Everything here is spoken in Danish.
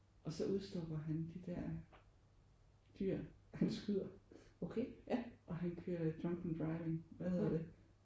Og så udstopper han de der dyr han skyder og han kører drunk and driving hvad hedder det?